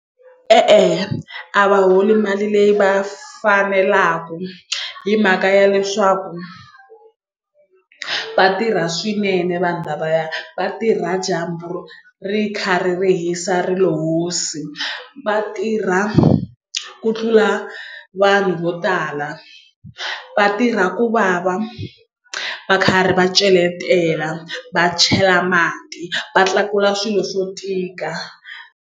E-e a va holi mali leyi va fanelaku hi mhaka ya leswaku vatirha swinene vanhu lavaya vatirha dyambu ri kha ri hisa rilo hosi vatirha ku tlula vanhu vo tala va tirha ku vava va karhi va celetela va chela mati va tlakula swilo swo tika.